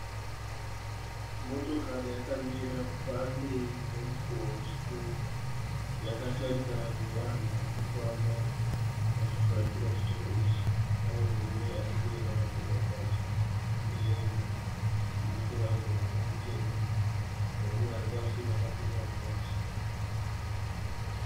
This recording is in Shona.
Motokari yakamira pamberi pemukowa wechitoro. Yakatarisana nevanhu varikufamba vachifuratira chitoro ichi. Pane murume arimberi akafeka bhachi nemuturauzi wake mutema. Neumwe aripamasure akapfekao bhachi